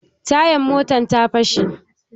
Tayan mun ta fashe